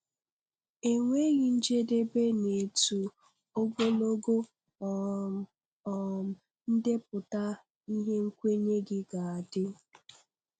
E nweghị njedebe n'etu ogologo um um ndepụta ihe nkwenye gị ga-adị.